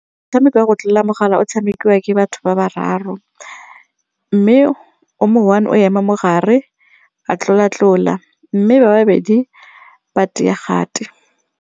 Motshameko wa go tlola mogala o tshamekiwa ke batho ba bararo mme o mo one o ema mogare a tlola tlola mme ba babedi ba kgati.